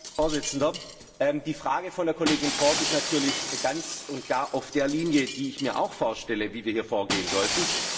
Herr Präsident! Die Frage der Kollegin Ford ist natürlich ganz und gar auf der Linie, die ich mir auch vorstelle, wie wir hier vorgehen sollten.